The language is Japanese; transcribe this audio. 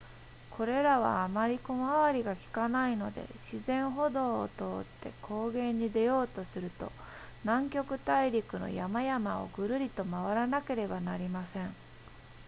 これらはあまり小回りがきかないので自然歩道を通って高原に出ようとすると南極大陸の山々をぐるりと回らなければなりません